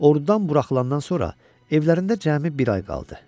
Ordudan buraxılandan sonra evlərində cəmi bir ay qaldı.